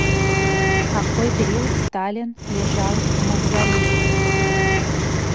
какой период сталин лежал в мавзолее